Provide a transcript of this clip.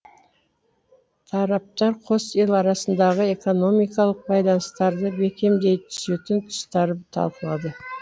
тараптар қос ел арасындағы экономикалық байланыстарды бекемдей түсетін тұстары талқылады